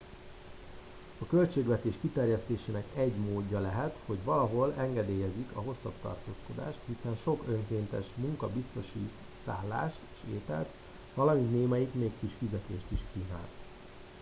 a költségvetés kiterjesztésének egy módja lehet hogy valahol engedélyezik a hosszabb tartózkodást hiszen sok önkéntes munka biztosít szállást és ételt valamint némelyik még kis fizetést is kínál